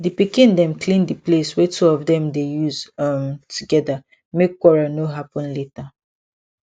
di pikin dem clean the place wey two of dem dey use um together make quarrel no happen later